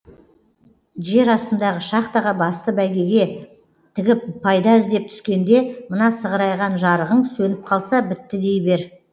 жер астындағы шахтаға басты бәйгеге тігіп пайда іздеп түскенде мына сығырайған жарығың сөніп қалса бітті дей бер